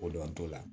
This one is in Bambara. Ko dɔntogo la